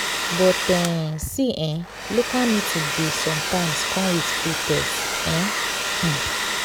but um see eh local meeting dey sometimes come with free test um. um